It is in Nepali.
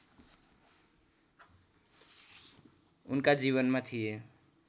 उनका जीवनमा थिए